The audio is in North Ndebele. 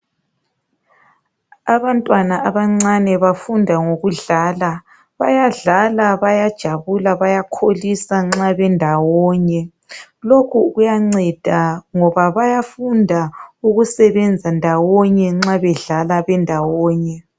Abantwaba abancane bafunda ngokudlala. Bayadlala bayajabula bayakholisa nxa bendawonye. Lokhu kuyanceda ngoba bayafunda ukusebenza ndawonye nxa bedlala bendawonye.